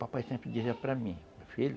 Papai sempre dizia para mim, meu filho,